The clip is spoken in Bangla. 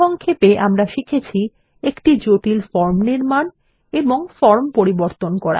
সংক্ষেপ আমরা শিখেছি একটি জটিল ফর্ম নির্মাণ এবং ফর্ম পরিবর্তন করা